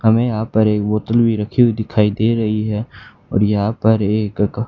हमें यहां पे एक बोतल भी रखी दिखाई दे रही है और यहां पे एक क--